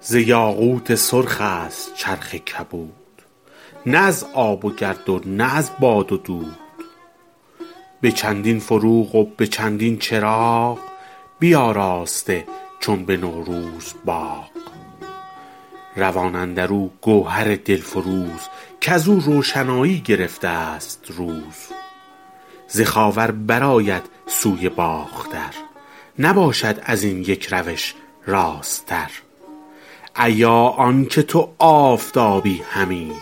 ز یاقوت سرخ است چرخ کبود نه از آب و گرد و نه از باد و دود به چندین فروغ و به چندین چراغ بیاراسته چون به نوروز باغ روان اندر او گوهر دل فروز کز او روشنایی گرفته است روز ز خاور بر آید سوی باختر نباشد از این یک روش راست تر ایا آن که تو آفتابی همی